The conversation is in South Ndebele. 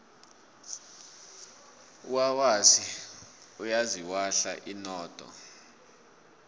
unanasi uyaziwahla inodo